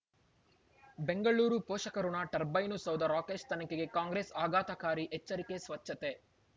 ಬೆಂಗಳೂರು ಪೋಷಕಋಣ ಟರ್ಬೈನು ಸೌಧ ರಾಕೇಶ್ ತನಿಖೆಗೆ ಕಾಂಗ್ರೆಸ್ ಆಘಾತಕಾರಿ ಎಚ್ಚರಿಕೆ ಸ್ವಚ್ಛತೆ